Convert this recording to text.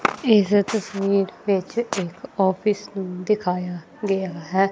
ਇਸ ਤਸਵੀਰ ਵਿੱਚ ਇੱਕ ਆਫਿਸ ਨੂੰ ਦਿਖਾਇਆ ਗਿਆ ਹੈ।